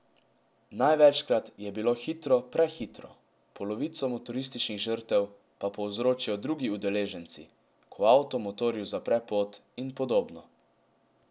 Največkrat je bilo hitro prehitro, polovico motorističnih žrtev pa povzročijo drugi udeleženci, ko avto motorju zapre pot in podobno.